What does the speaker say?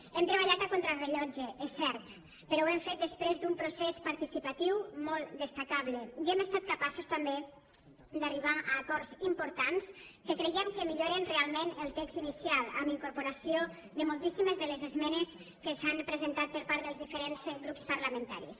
hem treballat a contrarellotge és cert però ho hem fet després d’un procés participatiu molt destacable i hem estat capaços també d’arribar a acords importants que creiem que milloren realment el text inicial amb incorporació de moltíssimes de les esmenes que s’han presentat per part dels diferents grups parlamentaris